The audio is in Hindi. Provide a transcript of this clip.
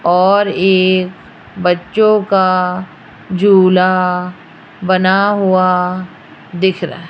और एक बच्चों का झूला बना हुआ दिख रहा --